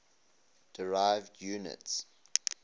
derived units